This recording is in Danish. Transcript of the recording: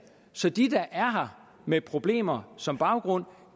så de der er her med problemer som baggrund